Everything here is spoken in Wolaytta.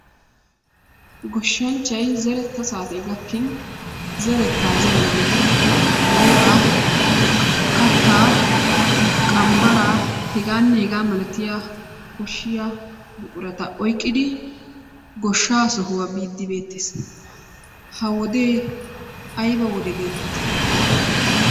Goshshanchchay zeretta saatee gakkin zerettaa zeranaayyo booraa, kattaa, qambbaraa h.h.m koshshiya buqurata oyqqidi goshshaa sohuwa biiddi beettees. Ha wodee ayba wode geetettii?